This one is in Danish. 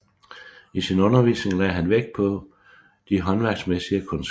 I sin undervisning lagde han vægt på de håndværksmæssige kundskaber